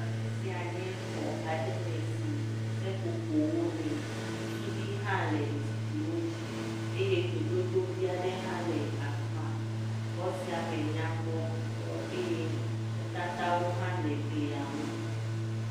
Afi sia nye xɔ aɖe me si seƒoƒowo le, suɖiwo hã le zikpiwo dzi eye dzododo vi aɖe hã le afi ma. Xɔ sia me nyakpɔ ŋutɔ eye nutatawo hã le glia ŋu.